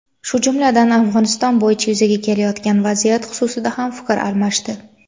shu jumladan Afg‘oniston bo‘yicha yuzaga kelayotgan vaziyat xususida ham fikr almashdi.